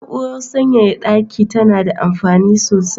Na'urar sanyaya daki tana da amfini sosai.